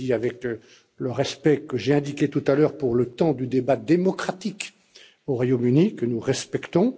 Je le dis avec le respect évoqué tout à l'heure pour le temps du débat démocratique au Royaume Uni, que nous respectons.